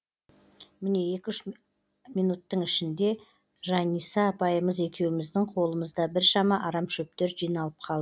міне екі үш ақ минуттың ішінде жаниса апайымыз екеуміздің қолымызда біршама арам шөптер жиналып қалды